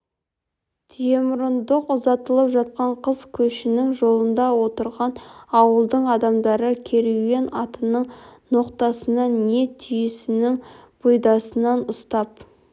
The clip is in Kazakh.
түйемұрындық ұзатылып жатқан қыз көшінің жолында отырған ауылдың адамдары керуен атының ноқтасынан не түйесінің бұйдасынан ұстап